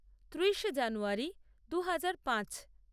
ত্রিশে জানুয়ারী দু হাজার পাঁচ